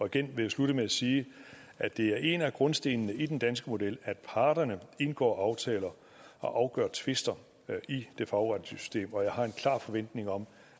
igen vil jeg slutte med at sige at det er en af grundstenene i den danske model at parterne indgår aftaler og afgør tvister i det fagretlige system og jeg har en klar forventning om